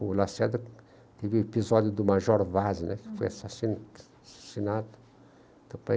O Lacerda teve o episódio do Major Vaz né, uhum, que foi assassi assassinado.